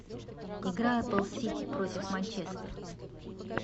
игра апл сити против манчестер